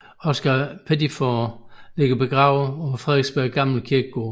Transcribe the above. Oscar Pettiford ligger begravet på Frederiksberg gamle kirkegård